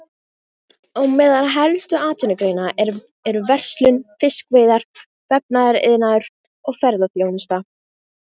Á meðal helstu atvinnugreina eru verslun, fiskveiðar, vefnaðariðnaður og ferðaþjónusta.